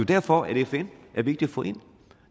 derfor at fn er vigtig at få ind